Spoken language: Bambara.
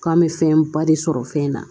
K'an bɛ fɛn ba de sɔrɔ fɛn na